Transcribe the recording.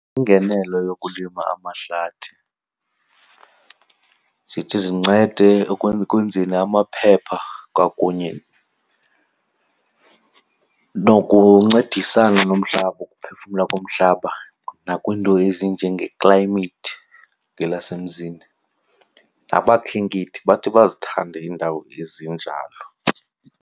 Iingenelo yokulima amahlathi zithi zincede ekwenzeni amaphepha kwakunye nokuncedisana nomhlaba, ukuphefumla komhlaba, nakwiinto ezinjenge-climate ngelasemzini. Abakhenkethi bathi bazithande iindawo ezinjalo.